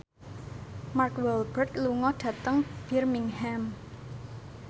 Mark Walberg lunga dhateng Birmingham